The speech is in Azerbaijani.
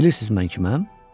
Bilirsiniz mən kiməm?